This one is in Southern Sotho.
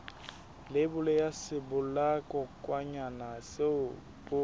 leibole ya sebolayakokwanyana seo o